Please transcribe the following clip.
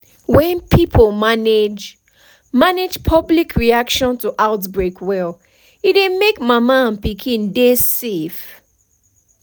when pipo manage manage public reaction to outbreak well e dey make mama and pikin dey save